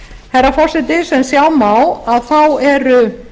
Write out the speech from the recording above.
herra forseti sem sjá má eru